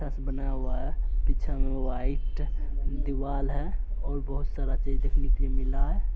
बना हुआ है। पीछे में वाइट दीवाल है और बहोत सारा चीज़ देखने के लिए मिला है।